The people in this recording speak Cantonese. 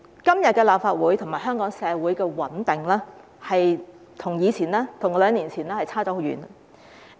今天立法會和香港社會的穩定，跟兩年前相差很遠。